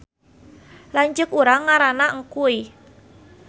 Lanceuk urang ngaranna Engkuy